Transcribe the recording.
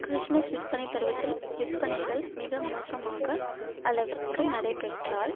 Christmas விற்பனை பருவத்தில் விற்பனைகள் மிக மோசமாக அளவிற்கு நடைபெற்றால்